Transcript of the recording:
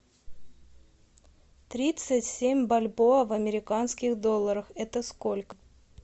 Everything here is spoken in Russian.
тридцать семь бальбоа в американских долларах это сколько